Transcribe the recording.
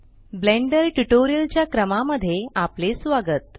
blender tutorial च्या क्रमा मध्ये आपले स्वागत